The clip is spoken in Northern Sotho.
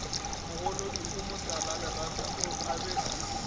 mogolodi o motalalerata a be